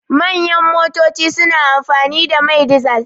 Manyan motoci suna amfani da mai dizal.